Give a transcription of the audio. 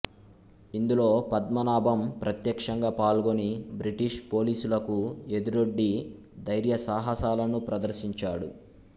ఇందులో పద్మనాభం ప్రత్యక్షంగా పాల్గొని బ్రిటిష్ పోలీసులకు ఎదురొడ్డి ధైర్యసాహసాలను ప్రదర్శించాడు